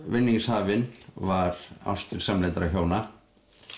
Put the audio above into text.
vinningshafinn var ástir samlyndra hjóna